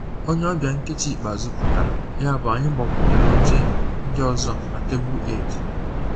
Onye ọbịa nkeji ikpeazụ pụtara, yabụ anyị gbakwunyere oche ndị ọzọ na tebụl Eid